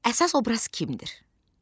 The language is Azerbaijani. Əsas obraz kimdir?